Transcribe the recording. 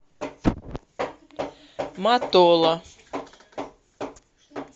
матола